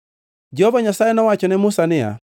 Jehova Nyasaye nowacho ne Musa niya,